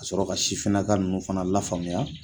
Ka sɔrɔ ka sifinna ka nunnu fana lafaamuya